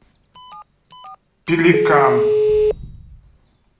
пеликан